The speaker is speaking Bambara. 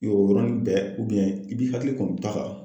O yɛrɛw bɛna bɛɛ i k'i hakili kɔni to a la.